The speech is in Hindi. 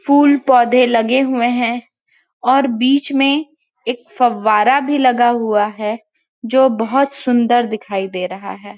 फूल-पौधे लगे हुए है और बीच में एक फव्वारा भी लगा हुआ है जो बहोत सुन्दर दिखाई दे रहा है।